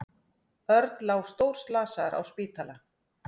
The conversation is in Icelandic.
Örn lá stórslasaður á spítala.